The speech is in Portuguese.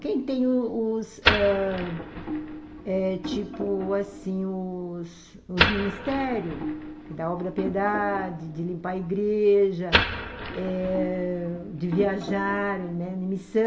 Quem tem os os ãh... eh... tipo assim, os ministérios, da obra piedade, de limpar a igreja eh, de viajar em missão,